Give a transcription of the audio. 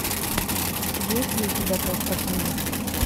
есть ли у тебя толстопузы